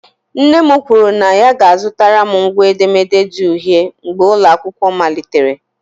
Nne m kwuru na ya ga-azụtara m ngwa edemede di uhie mgbe ụlọ akwụkwọ malitere.